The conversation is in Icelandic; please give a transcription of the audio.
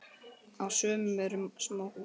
Á sumum eru smáhús.